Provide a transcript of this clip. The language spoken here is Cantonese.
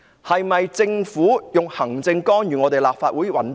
是否行政干預立法會的運作？